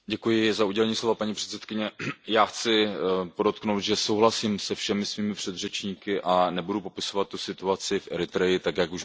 Paní předsedající, já chci podotknout, že souhlasím se všemi svými předřečníky a nebudu popisovat tu situaci v Eritreji tak, jak už byla řečena.